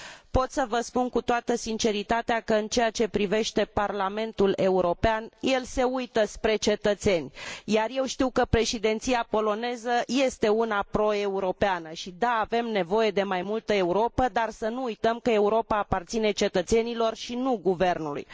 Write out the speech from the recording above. Pot să vă spun cu toată sinceritatea că, în ceea ce privește Parlamentul European, el se uită spre cetățeni, iar eu știu că președinția poloneză este una pro europeană și, da, avem nevoie de mai multă Europă, dar să nu uităm că Europa aparține cetățenilor, și nu guvernului.